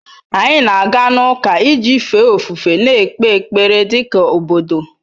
Anyị na-aga ụka iji fee ofufe na-ekpe ekpere dị ka obodo.